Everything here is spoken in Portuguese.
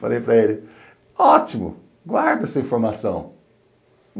Falei para ele, ótimo, guarda essa informação.